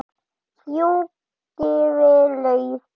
Fjúkiði lauf.